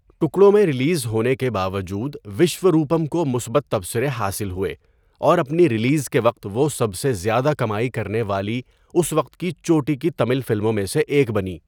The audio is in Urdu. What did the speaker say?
ٹکڑوں میں ریلیز ہونے کے باوجود، وشوروپم کو مثبت تبصرے حاصل ہوئے اور اپنی ریلیز کے وقت وہ سب سے زیادہ کمائی کرنے والی اس وقت کی چوٹی کی تمل فلموں میں سے ایک بنی۔